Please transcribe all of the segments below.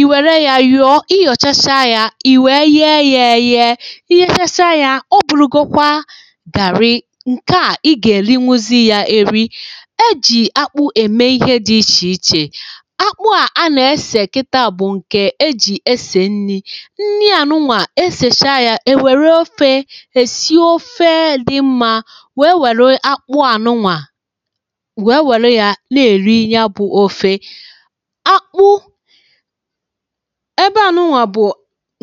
iwèrè ya yònyòchacha ya ìwèe yee ya eye ya ihe chasa ya o bùrùgokwa gàrị ǹke a ị gà-èli nwuzi ya èri ejì akpụ ème ihe dị ichè ichè akpụ a nà-esè kịta bụ̀ ǹkè ejì esè nni nni ànụnwà esèsha ya ya nwèrè ofė èsi ofe dị mma wèe wère akpụ ànụnwà wèe wère ya na-èri ya bụ ofe ebe ànụ ụnwà bụ̀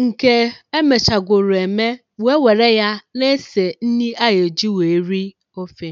ǹkè emechàgwùrù ème wee wère ya na esè nni ayụ̀ ji wèe ri ofė